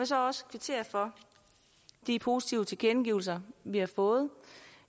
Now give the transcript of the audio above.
så også kvittere for de positive tilkendegivelser vi har fået